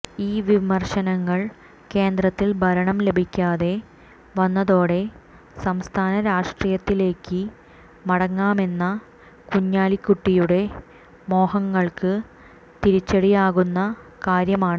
ഈ വിമർശനങ്ങൾ കേന്ദ്രത്തിൽ ഭരണം ലഭിക്കാതെ വന്നതോടെ സംസ്ഥാന രാഷ്ട്രീയത്തിലേക്ക് മടങ്ങാമെന്ന കുഞ്ഞാലിക്കുട്ടിയുടെ മോഹങ്ങൾക്ക് തിരിച്ചടിയാകുന്ന കാര്യമാണ്